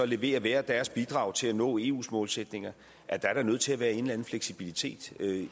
levere hver deres bidrag til at nå eus målsætninger at der er nødt til at være en eller anden fleksibilitet